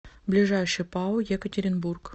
ближайший пао екатеринбург